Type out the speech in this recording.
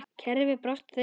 Kerfið brást þeim.